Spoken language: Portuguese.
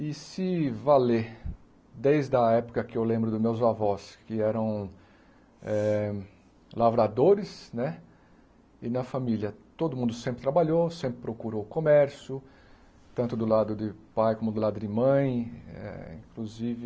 E se valer, desde a época que eu lembro dos meus avós, que eram eh lavradores né, e na família todo mundo sempre trabalhou, sempre procurou comércio, tanto do lado de pai como do lado de mãe, eh inclusive